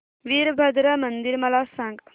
वीरभद्रा मंदिर मला सांग